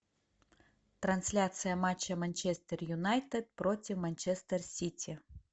трансляция матча манчестер юнайтед против манчестер сити